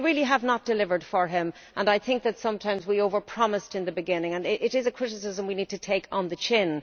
We really have not delivered for him and I think that sometimes we over promised in the beginning. It is a criticism we need to take on the chin.